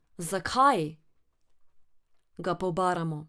Zakaj, ga pobaramo.